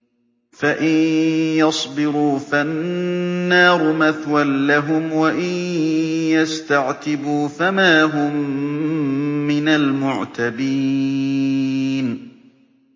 فَإِن يَصْبِرُوا فَالنَّارُ مَثْوًى لَّهُمْ ۖ وَإِن يَسْتَعْتِبُوا فَمَا هُم مِّنَ الْمُعْتَبِينَ